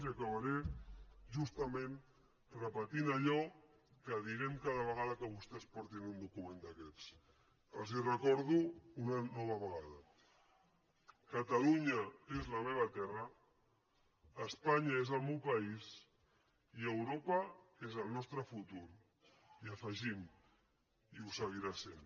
i acabaré justament repetint allò que direm cada vegada que vostès portin un document d’aquests els ho recordo una nova vegada catalunya és la meva terra espanya és el meu país i europa és el nostre futur i hi afegim ho seguirà sent